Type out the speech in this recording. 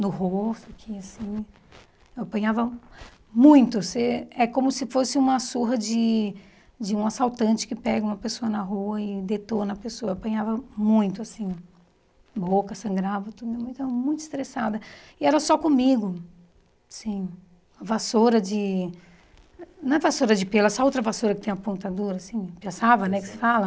no rosto que assim apanhava muito você é como se fosse uma surra de de um assaltante que pega uma pessoa na rua e detona a pessoa apanhava muito assim boca sangrava tudo minha mãe estava muito estressada e era só comigo sim vassoura de não é vassoura de pelo essa outra vassoura que tem a ponta dura assim piaçava né que se fala